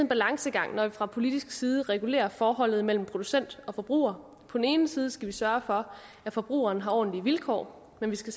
balancegang når vi fra politisk side regulerer forholdet mellem producent og forbruger på den ene side skal vi sørge for at forbrugeren har ordentlige vilkår men vi skal